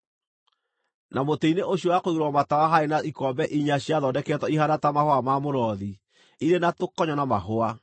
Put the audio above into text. Na mũtĩ-inĩ ũcio wa kũigĩrĩrwo matawa haarĩ na ikombe inya ciathondeketwo ihaana ta mahũa ma mũrothi, irĩ na tũkonyo na mahũa.